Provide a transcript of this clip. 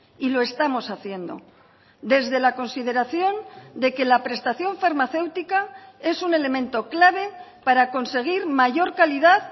y lo estamos haciendo desde la consideración de que la prestación farmacéutica es un elemento clave para conseguir mayor calidad